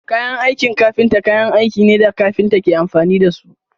Kayan aikin kafinta kayan aikin ne da kafinta ke amfani da su.